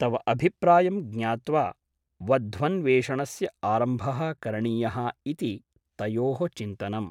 तव अभिप्रायं ज्ञात्वा वध्वन्वेषणस्य आरम्भः करणीयः इति तयोः चिन्तनम् ।